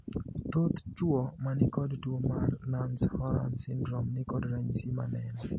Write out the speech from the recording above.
Thoth chuo manikod tuo mar Nance Horan syndrome nikod ranyisi maneno.